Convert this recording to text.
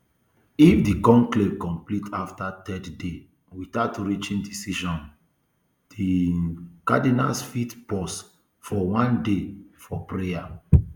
if di conclave complete afta third day without reaching decision um di um cardinals fit pause for one day for prayer